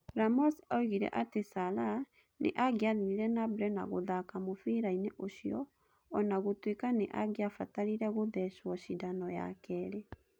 Ramos oigire atĩ Salah nĩ angĩathire na mbere na gũthaaka mũbira-inĩ ũcio, o na gũtuĩka nĩ angĩabatarire gūthecwo cindano ya kerĩ